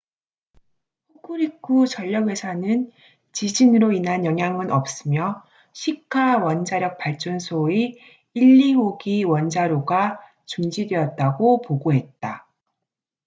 호쿠리쿠 전력 회사는 지진으로 인한 영향은 없으며 시카 원자력 발전소의 1 2호기 원자로가 중지되었다고 보고했다